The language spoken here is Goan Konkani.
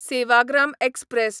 सेवाग्राम एक्सप्रॅस